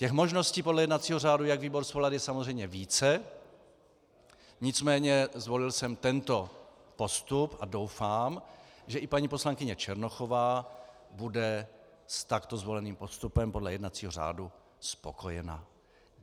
Těch možností podle jednacího řádu, jak výbor svolat, je samozřejmě více, nicméně zvolil jsem tento postup a doufám, že i paní poslankyně Černochová bude s takto zvoleným postupem podle jednacího řádu spokojena.